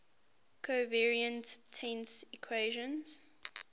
covariant tensor equations